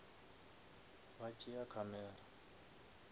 ba tšea ke camera